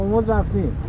Ormuzdan getdik.